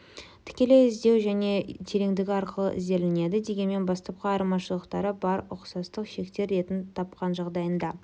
тікілей іздеу ені және тереңдігі арқылы ізделінеді дегенмен бастапқы айырмашылықтары бар ұқсастық шектер ретін тапқан жағдайында